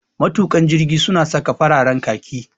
Matuƙan jirgi su na saka fararen khaki